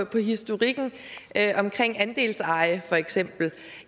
på historikken omkring andelseje vil